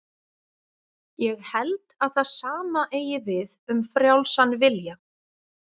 Þá eru arfgerðir barns og föður rannsakaður og bornar saman.